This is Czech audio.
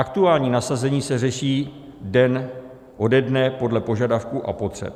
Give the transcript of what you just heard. Aktuální nasazení se řeší den ode dne podle požadavků a potřeb.